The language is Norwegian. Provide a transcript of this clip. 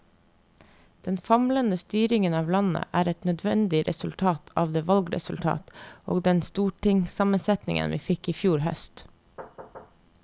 Den famlende styringen av landet er et nødvendig resultat av det valgresultat og den stortingssammensetning vi fikk i fjor høst.